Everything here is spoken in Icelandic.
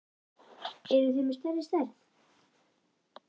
Eruð þið með stærri stærð?